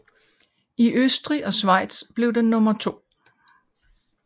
I Østrig og Schweiz blev den nummer to